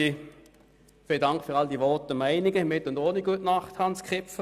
Ich danke für all die Meinungen, mit und ohne gute Nacht, Grossrat Kipfer.